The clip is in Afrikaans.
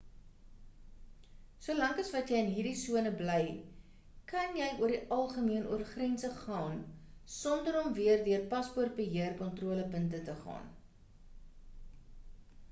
solank as wat jy in hierdie sone bly kan jy oor die algemeen oor grense gaan sonder om weer deur paspoortbeheer kontrolepunte te gaan